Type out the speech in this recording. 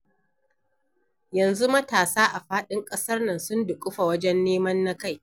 Yanzu matasa a faɗin ƙasar nan sun duƙufa wajen neman na kai.